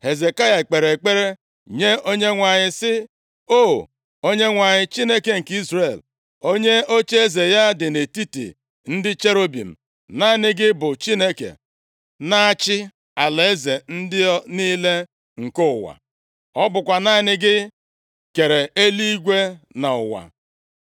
Hezekaya kpere ekpere nye Onyenwe anyị, sị, “O, Onyenwe anyị, Chineke nke Izrel, onye ocheeze ya dị nʼetiti ndị cherubim, naanị gị bụ Chineke na-achị alaeze niile nke ụwa. Ọ bụkwa naanị gị kere eluigwe na ụwa.